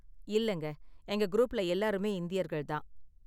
இல்லங்க, எங்க குரூப்ல எல்லாருமே இந்தியர்கள் தான்.